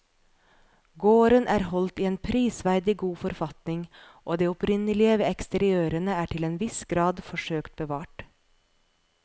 Gården er holdt i en prisverdig god forfatning og det opprinnelige ved eksteriørene er til en viss grad forsøkt bevart.